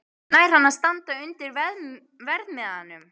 Nær hann að standa undir verðmiðanum?